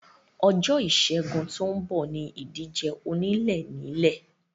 Ọjọ́ ìsẹ́gun tó ń bọ̀ ní ìdíje onílé ń nílé